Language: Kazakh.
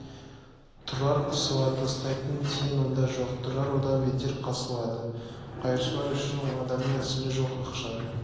тұрар қысылады тастайтын тиын онда жоқ тұрар одан бетер қысылады қайыршылар үшін адамның нәсілі жоқ ақшаң